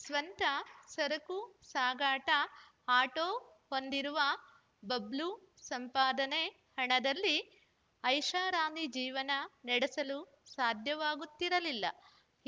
ಸ್ವಂತ ಸರಕು ಸಾಗಾಟ ಆಟೋ ಹೊಂದಿರುವ ಬಬ್ಲು ಸಂಪಾದನೆ ಹಣದಲ್ಲಿ ಐಷಾರಾಮಿ ಜೀವನ ನಡೆಸಲು ಸಾಧ್ಯವಾಗುತ್ತಿರಲಿಲ್ಲ